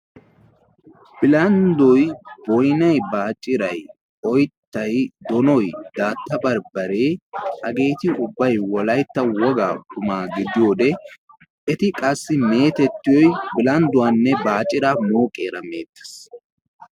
Bilanddoy boonay baaciray oyttay doonoy daata bambbare hageeti ubbay wolaytta wogaa qumma gidiyoode eti qassi metettiyoy bilandduwaanne baaciraa mooqqiyaara meettees.